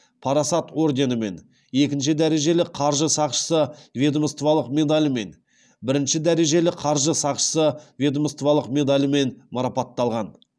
парасат орденімен екінші дәрежелі қаржы сақшысы ведомстволық медалімен бірінші дәрежелі қаржы сақшысы ведомстволық медалімен марапатталған